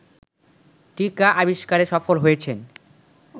টীকা আবিস্কারে সফল হয়েছেন